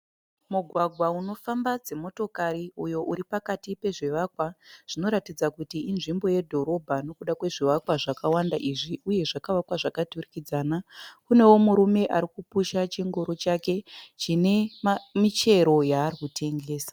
Mugwagwa unofamba dzimotokari uyo uri pakati pezvivakwa , zvinoratidza inzvimbo yedhorobha nekuda kwezvivakwa zvakawanda izvi uye zvakavakwa zvakaturikidzana. Kunewo murume arikupusha chingoro chake chine michero yaari kutengesa